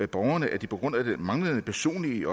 borgerne at de på grund af den manglende personlige